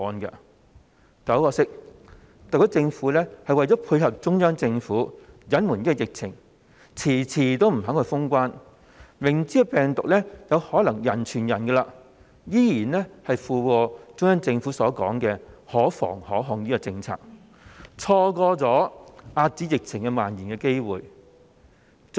但很可惜，特區政府為了配合中央政府，隱瞞疫情，遲遲不肯封關，明知病毒有可能人傳人，依然附和中央政府所說的"可防可控"政策，錯過了遏止疫情蔓延的機會。